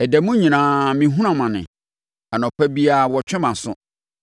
Ɛda mu nyinaa mehunu amane; anɔpa biara wɔtwe mʼaso.